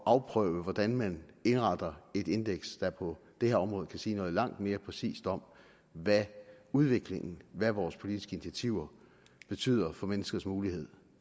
at afprøve hvordan man indretter et indeks der på det her område kan sige noget langt mere præcist om hvad udviklingen hvad vores politiske initiativer betyder for menneskers muligheder